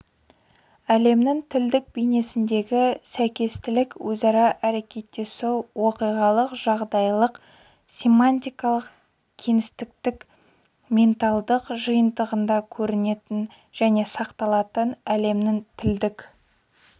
әлемнің тілдік бейнесіндегі сәйкестілік өзара әрекеттесу оқиғалық жағдайлық семантикалық-кеңістіктік менталдық жиынтығында көрінетін және сақталатын әлемнің тілдік